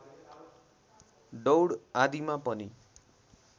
दौड आदिमा पनि